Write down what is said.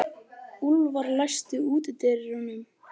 Úlfar, læstu útidyrunum.